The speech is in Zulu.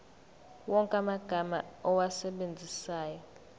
wonke amagama owasebenzisayo